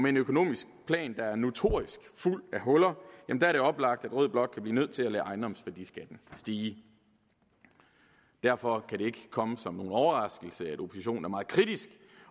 en økonomisk plan der er notorisk fuld af huller er det oplagt at rød blok kan blive nødt til at lade ejendomsværdiskatten stige derfor kan det ikke komme som nogen overraskelse at oppositionen er meget kritisk